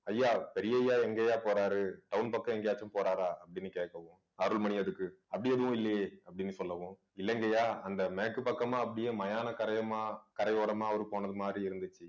ஐயா பெரியய்யா எங்கய்யா போறாரு town பக்கம் எங்கேயாச்சும் போறாரா அப்படின்னு கேட்கவும் அருள்மணி அதுக்கு அப்படி எதுவும் இல்லையே அப்படின்னு சொல்லவும் இல்லைங்க ஐயா அந்த மேக்கு பக்கமா அப்படியே மயான கரையமா கரையோரமா அவரு போனது மாதிரி இருந்துச்சு